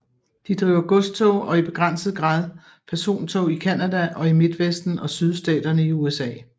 De driver godstog og i begrænset grad persontog i Canada og i Midtvesten og Sydstaterne i USA